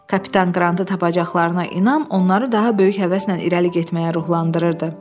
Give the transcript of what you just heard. Kapitan Qrantı tapacaqlarına inan onları daha böyük həvəslə irəli getməyə ruhlandırırdı.